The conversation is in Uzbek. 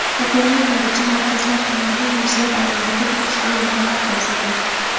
Bugungi kungacha markazlar tomonidan yuzlab ayollarga tegishli yordamlar ko‘rsatildi.